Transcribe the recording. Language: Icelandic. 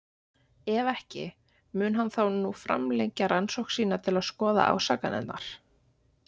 Ef ekki, mun hann þá nú framlengja rannsókn sína til að skoða ásakanirnar?